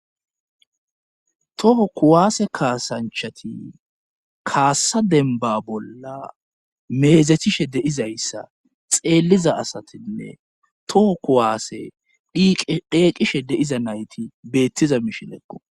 Toho kuwaase kaasanchati kaassa denba bolla meezethishe deizayssa xeelliza asatinne toho kuwaase deeqishe de'iza nayti beettiza mishileqqo